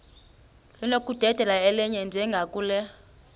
linokudedela elinye njengakule